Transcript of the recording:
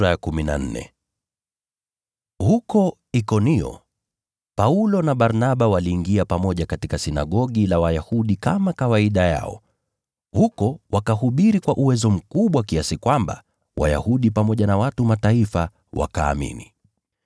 Huko Ikonio Paulo na Barnaba waliingia pamoja katika sinagogi la Wayahudi kama ilivyokuwa desturi yao. Huko wakahubiri kwa uwezo mkubwa kiasi kwamba Wayahudi pamoja na watu wa Mataifa wakaamini.